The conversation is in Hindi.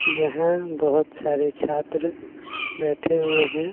यह बहोत सारे छात्र बैठे हुए हैं।